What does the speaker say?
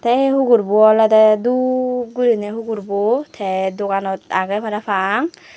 te eh hugur bu olode dhup guriney hugur bu te doganot agey parapang.